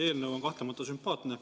Eelnõu on kahtlemata sümpaatne.